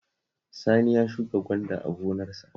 Sani ya shuka gwanda a gonarsa